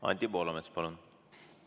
Anti Poolamets, palun!